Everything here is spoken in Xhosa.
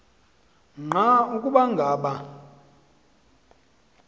nqa ukuba ngaba